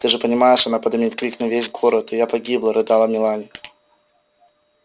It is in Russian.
ты же понимаешь она подымет крик на весь город и я погибла рыдала мелани